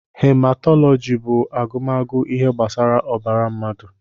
Hematọlọji bú agụmagụ ihe gbasara ọbara mmadụ.